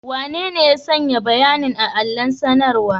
Wanene ya sanya bayanin a allon sanarwa?